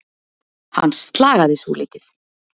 Hann slagaði svolítið.